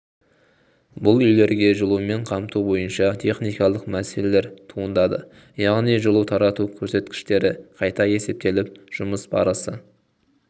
бұл үйлерге жылумен қамту бойынша техникалық мәселелер туындады яғни жылу тарату көрсеткіштері қайта есептеліп жұмыс барысы